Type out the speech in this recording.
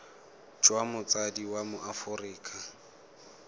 jwa motsadi wa mo aforika